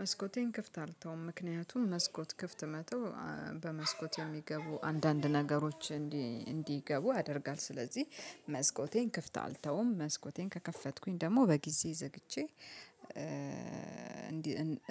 መስኮቴን ክፍት አልተውም ምክንያቱም መስኮት ክፍት መተው በመስኮት የሚገቡ አንዳንድ ነገሮች እንዲገቡ ያደርጋል። ስለዚህ መስኮቴን ክፍት አልተውም መስኮቴን ከከፈትኩኝ ደግሞ በጊዜ ዘግቼ።